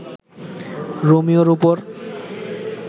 রোমিওর উপর